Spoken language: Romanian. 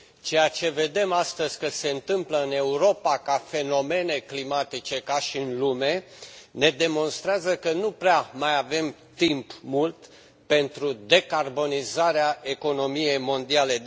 Ceea ce vedem astăzi că se întâmplă în Europa, ca fenomene climatice, ca și în lume, ne demonstrează că nu prea mai avem timp mult pentru decarbonizarea economiei mondiale.